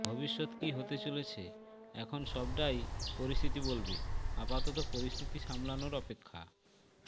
ভবিষ্যৎ কী হতে চলেছে এখন সবটাই পরিস্থিতি বলবে আপাতত পরিস্থিতি সামলানোর অপেক্ষা